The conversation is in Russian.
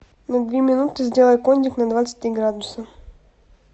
на две минуты сделай кондик на двадцать три градуса